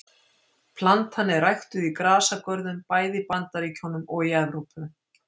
Plantan er ræktuð í grasagörðum bæði í Bandaríkjunum og í Evrópu.